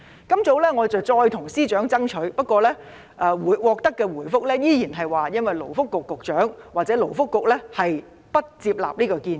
今早，我再次向司長爭取，不過，獲得的回覆依然是勞工及福利局局長或勞工及福利局不接納這個建議。